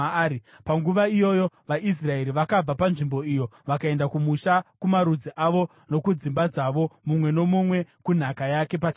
Panguva iyoyo vaIsraeri vakabva panzvimbo iyo vakaenda kumusha kumarudzi avo nokudzimba dzavo, mumwe nomumwe kunhaka yake pachake.